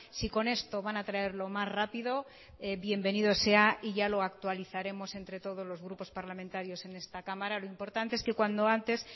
si con esto van a traerlo más rápido bienvenido sea y ya lo actualizaremos entre todos los grupos parlamentarios en esta cámara lo importante es que cuando antes